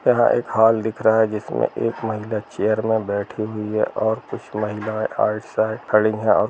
यह एक हॉल दिख रहा है जिसमे एक महिला चेयर में बैठी हुई है और कुछ महिला राइट साइड खड़ी हैं और --